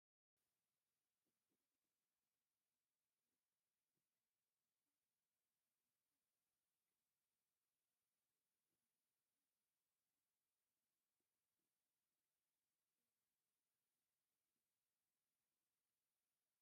ሰለስተ ዝተፈላለያ ናይ እዝኒ ዝተፈላለየ ዕንቍን ሕብሪን ዘለዎን ኮይነን፤ ከም ቀይሕ፣ ቆፃል፣ ፃዕዳን ሰማያዊን ሕብሪ ብምህላዉ አብ ፀሊም ድሕረ ገፅ ከዓ ይርከባ፡፡ ውይውይ ጉድ እቲ ሓደ እዝኒ ኸ አበይ አሎ?